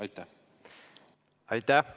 Aitäh!